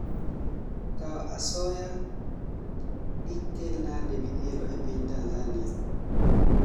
Kao asoya dikelnade midhiero epinTanzania?